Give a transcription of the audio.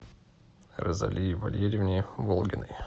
розалии валериевне волгиной